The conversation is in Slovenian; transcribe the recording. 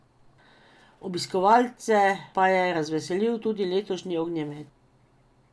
Obiskovalce pa je razveselil tudi letošnji ognjemet.